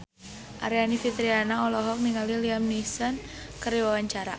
Aryani Fitriana olohok ningali Liam Neeson keur diwawancara